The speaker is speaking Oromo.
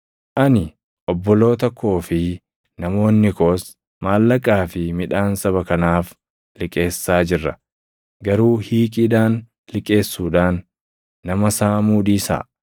Ani, obboloota koo fi namoonni koos maallaqaa fi midhaan saba kanaaf liqeessaa jirra. Garuu hiiqiidhaan liqeessuudhaan nama saamuu dhiisaa!